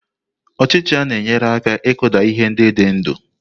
Ọchicha na-enyere aka ịkụda ihe ndị dị ndụ.